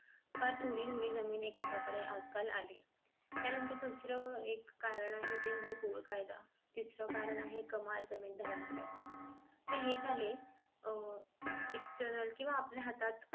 फार थोडी थोडी जमीन एकेका कडे आज काल आले आणि त्या नंतर दुसरं एक कारण आहे ते म्हणजे कुल कायदा तिसरं कारण आहे कमाल जमीन धारणा कायदा आता हे झाले अह external केंव्हा आपल्या हातात